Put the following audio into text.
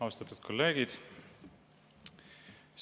Austatud kolleegid!